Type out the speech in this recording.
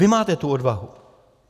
Vy máte tu odvahu.